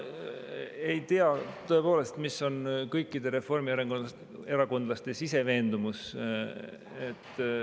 Ma ei tea tõepoolest, milline on kõikide reformierakondlaste sisemine veendumus.